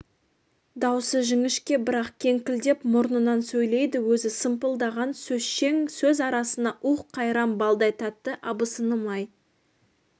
даусы жіңішке бірақ кеңкілдеп мұрнынан сөйлейді өзі сымпылдаған сөзшең сөз арасында уһ қайран балдай тәтті абысыным-ай